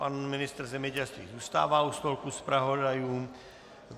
Pan ministr zemědělství zůstává u stolku zpravodajů.